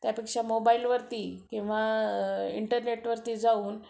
त्यापेक्षा मोबाईलवरती किंवा इंटरनेट वरती जाऊन